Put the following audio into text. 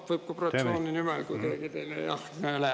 No võib ka fraktsiooni nimel, kuigi mul …